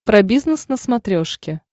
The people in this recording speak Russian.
про бизнес на смотрешке